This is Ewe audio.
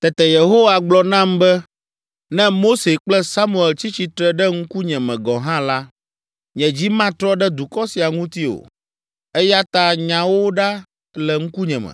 Tete Yehowa gblɔ nam be, “Ne Mose kple Samuel tsi tsitre ɖe ŋkunye me gɔ̃ hã la, nye dzi matrɔ ɖe dukɔ sia ŋuti o. Eya ta, nya wo ɖa le ŋkunye me.